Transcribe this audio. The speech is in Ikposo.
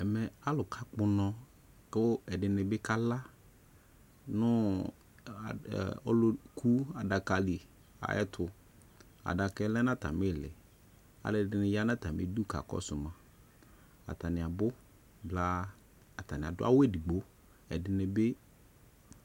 Ɛmɛ alu kakpɔ unɔ kɛ ɛde ne ne kala no u ɔluku adaka de ayetoAdakɛ lɛ no atame leAlɛde ne ya no atame du ka kɔso maAtane abu blaAtane ado awu edigboƐde ne be